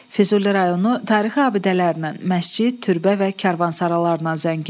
Füzuli rayonu tarixi abidələrin, məscid, türbə və karvansaralarıyla zəngindir.